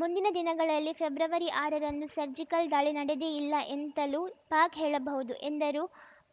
ಮುಂದಿನ ದಿನಗಳಲ್ಲಿ ಫೆಬ್ರವರಿ ಆರರಂದು ಸರ್ಜಿಕಲ್‌ ದಾಳಿ ನಡೆದೇ ಇಲ್ಲ ಎಂತಲೂ ಪಾಕ್‌ ಹೇಳಬಹುದು ಎಂದರು